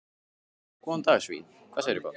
Góðan daginn svín, hvað segirðu gott?